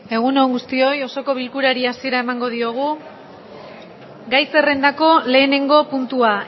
egun on guztioi osoko bilkurari hasiera emango diogu egun on gai zerrendako lehenengo puntua